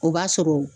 O b'a sɔrɔ